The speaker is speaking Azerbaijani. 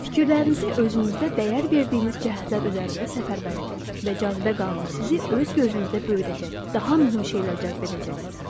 Fikirlərinizi özünüzdə dəyər verdiyiniz cəhətlər üzərində səfərbər edin və cazibə qanunu sizi öz gözünüzdə böyüdəcək, daha mühüm şeylər cəzb edəcəksiniz.